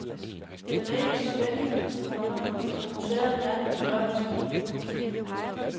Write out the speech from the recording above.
Den er ikke så spændende, komma som museet gerne vil gøre den til. punktum